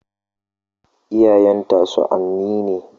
Iyayenta sa'anni ne.